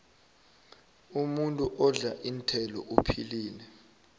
umuntu odla iinthelo uphilile